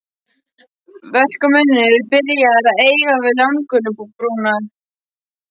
Verkamennirnir eru byrjaðir að eiga við landgöngubrúna.